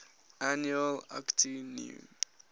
annual akitu new